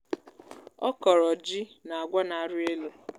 ọ kọ̀rọ̀ jị na àgwà nà ari elu